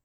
(38:320)